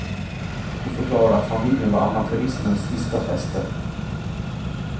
Hon förklarade att familjen var amatörismens sista fäste.